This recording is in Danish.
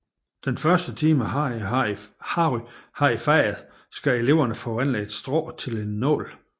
Den første time Harry har i faget skal eleverne forvandle et strå til en nål